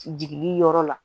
Jigili yɔrɔ la